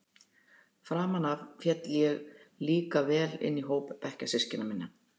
Framan af féll ég líka vel inn í hóp bekkjarsystkina minna.